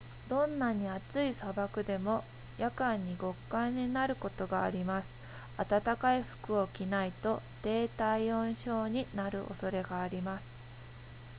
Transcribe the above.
どんなに暑い砂漠でも夜間に極寒になることがあります暖かい服を着ないと低体温症になる恐れがあります